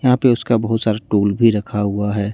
यहां पे उसका बहुत सारा टूल भी रखा हुआ है।